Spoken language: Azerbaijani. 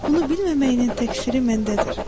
Bunu bilməməyinin təkfiri məndədir.